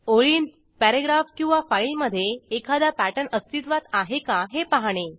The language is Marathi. ओळींत पॅरेग्राफ किंवा फाईलमधे एखादा पॅटर्न अस्तित्वात आहे का हे पाहणे